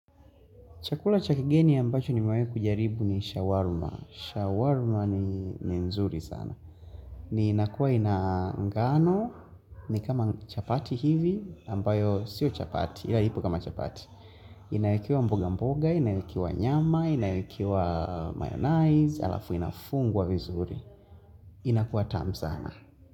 Chakula cha kigeni ambacho nimewahi kujaribu ni shawarma. Shawarma ni nzuri sana. Ni inakuwa ina ngano ni kama chapati hivi ambayo sio chapati ila ipo kama chapati. Inaekewa mboga mboga, inaekewa nyama, inaekewa mayonnaise, alafu inafungwa vizuri. Inakuwa tamu sana.